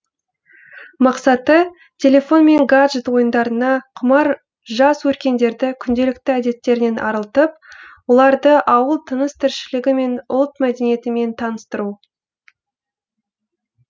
мақсаты телефон мен гаджет ойындарына құмар жас өркендерді күнделікті әдеттерінен арылтып оларды ауыл тыныс тіршілігі мен ұлт мәдениетімен таныстыру